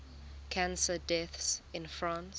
cancer deaths in france